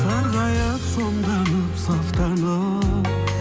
сарғайып сомданып сафтанып